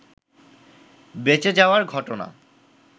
বেঁচে যাওয়ার ঘটনা